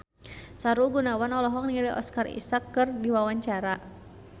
Sahrul Gunawan olohok ningali Oscar Isaac keur diwawancara